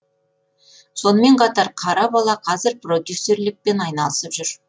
сонымен қатар қара бала қазір продюсерлікпен айналысып жүр